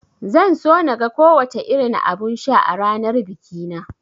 Zan so naga ko wace irin abun sha a ranar bikina